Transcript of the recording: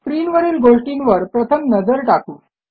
स्क्रीनवरील गोष्टींवर प्रथम नजर टाकू